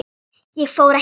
Ég fór ekki fram.